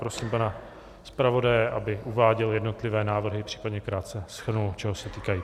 Prosím pana zpravodaje, aby uváděl jednotlivé návrhy, případně krátce shrnul, čeho se týkají.